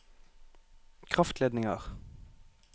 kraftledninger